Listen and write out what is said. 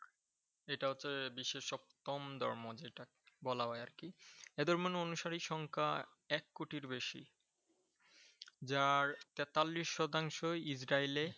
এটা হচ্ছে বিশ্বের সপ্তম ধর্ম যেটা বলা যায় আরকি ।এদের মনে হয় অনুসারী সংখ্যা এক কোটির বেশি। যার তেতাল্লিশ শতাংশই ইসরাইলে